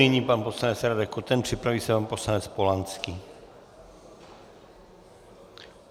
Nyní pan poslanec Radek Koten, připraví se pan poslanec Polanský.